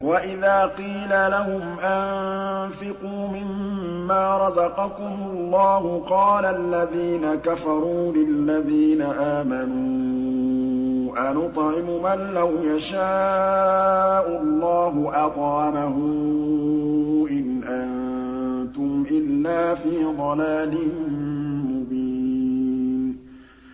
وَإِذَا قِيلَ لَهُمْ أَنفِقُوا مِمَّا رَزَقَكُمُ اللَّهُ قَالَ الَّذِينَ كَفَرُوا لِلَّذِينَ آمَنُوا أَنُطْعِمُ مَن لَّوْ يَشَاءُ اللَّهُ أَطْعَمَهُ إِنْ أَنتُمْ إِلَّا فِي ضَلَالٍ مُّبِينٍ